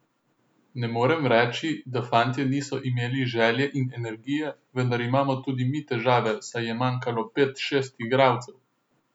Ne morem reči, da fantje niso imeli želje in energije, vendar imamo tudi mi težave, saj je manjkalo pet, šest igralcev.